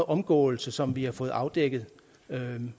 omgåelse som vi har fået afdækket